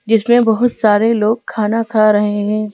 जिसमें बहुत सारे लोग खाना खा रहे हैं।